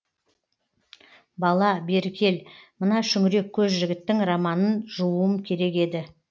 бала бері кел мына шүңірек көз жігіттің романын жууым керек еді